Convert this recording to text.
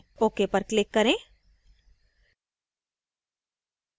ok पर click करें